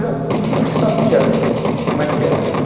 sabia como é que era aquilo.